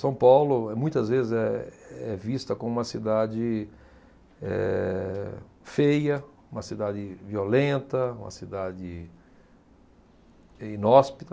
São Paulo, muitas vezes, é, é vista como uma cidade, eh, feia, uma cidade violenta, uma cidade inóspita.